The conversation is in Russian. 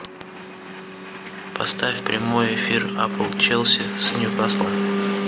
поставь прямой эфир апл челси с ньюкаслом